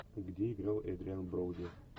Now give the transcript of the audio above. где играл эдриан броуди